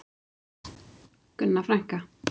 Gunna frænka.